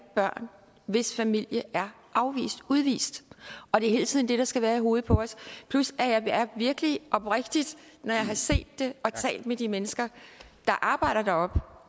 børn hvis familie er afvist udvist og det er hele tiden det der skal være i hovedet på os plus at jeg virkelig oprigtigt når jeg har set det og talt med de mennesker der arbejder